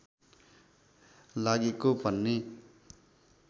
लागेको भन्ने